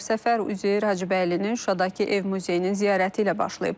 Səfər Üzeyir Hacıbəylinin Şuşadakı ev muzeyinin ziyarəti ilə başlayıb.